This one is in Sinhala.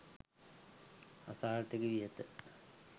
අසාර්ථකවී ඇත.